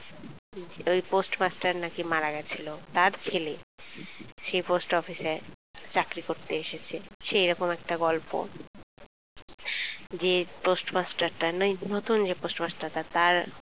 ওই পোস্টমাস্টার নাকি মারা গেছিল তার ছেলে সেই post office চাকরি করতে এসেছে সেএরম একটা গল্প যে পোস্টমাস্টার না যে নতুন পোস্টমাস্টার টা তার